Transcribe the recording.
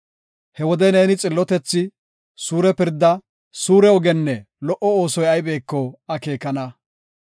He wode neeni xillotethi, suure pirdaa, suure ogenne lo77o oosoy aybeko akeekana.